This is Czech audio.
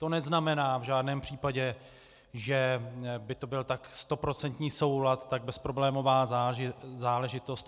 To neznamená v žádném případě, že by to byl tak stoprocentní soulad, tak bezproblémová záležitost.